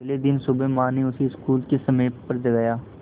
अगले दिन सुबह माँ ने उसे स्कूल के समय पर जगाया